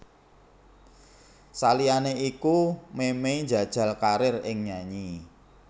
Saliyané iku Memey njajal karir ing nyanyi